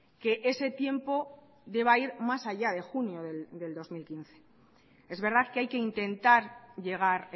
que ese tiempo deba ir más allá de junio del dos mil quince es verdad que hay que intentar llegar